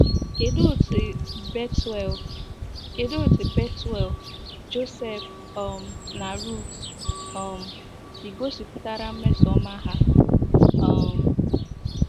Kedụ otú Bethuel, Kedụ otú Bethuel, Joseph, um na Ruth um si gosipụtara mmesoọma ha um?